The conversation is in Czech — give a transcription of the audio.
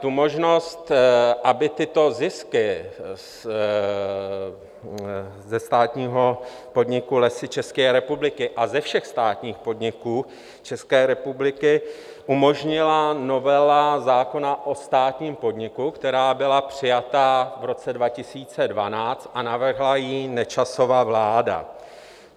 Tu možnost, aby tyto zisky ze státního podniku Lesy České republiky a ze všech státních podniků České republiky umožnila novela zákona o státním podniku, která byla přijata v roce 2012 a navrhla ji Nečasova vláda.